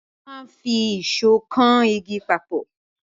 A máa n fi ìsó kan igi papọ̀